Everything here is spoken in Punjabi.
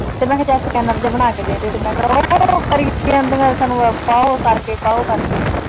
ਤੇ ਮੈਂ ਕਿਹਾ ਚੱਲ ਚੈਨਲ ਜਿਹਾ ਬਣਾ ਕੇ ਦੇ ਦੇ ਤੇ ਮੈਂ ਕਿਹਾ ਉਹ ਕਰੀ ਕੀ ਜਾਂਦੀਆਂ ਸਾਨੂੰ ਉਹ ਕਰਕੇ ਦਿੱਤਾ ਉਹ ਕਰਕੇ।